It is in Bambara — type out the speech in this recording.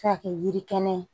Se ka kɛ yiri kɛnɛ ye